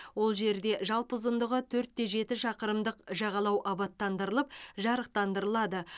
ол жерде жалпы ұзындығы төрт те жеті шақырымдық жағалау абаттандырылып жарықтандырылады